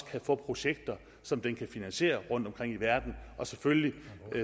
kan få projekter som den kan finansiere rundtomkring i verden og selvfølgelig